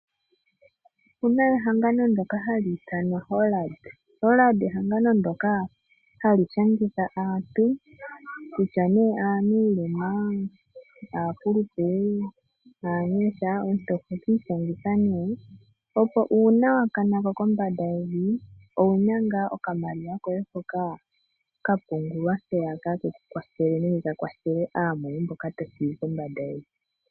Opuna ohangano ndoka hali ithanwa Hollard. Hollard ehangano ndoka hali shangitha aantu, kutya ne aanuulema, aakulupe, aanyasha, omuntu oho kiityangitha ne opo uuna wakanako kombanda yevi, owuna ngaa okamaliwa koye hoka kapungulwa mpeyaka kekukwathele nenge kakwathele aamoye mboka tothigi kombanda yevi.